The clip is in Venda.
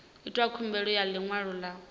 itwa khumbelo ya ḽiṅwalo ḽa